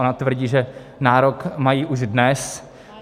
Ona tvrdí, že nárok mají už dnes.